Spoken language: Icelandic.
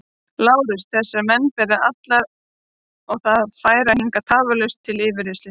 LÁRUS: Þessa menn ber alla að færa hingað tafarlaust til yfirheyrslu.